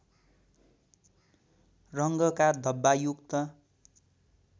रङका धब्बायुक्त